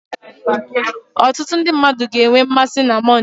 Ọtụtụ ndị mmadụ ga-enwe mmasị na Mọnde